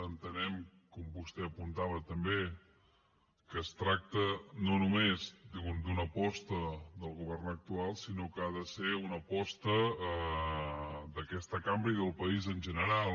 entenem com vostè apuntava també que es tracta no només d’una aposta del govern actual sinó que ha de ser una aposta d’aquesta cambra i del país en general